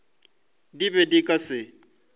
di be di ka se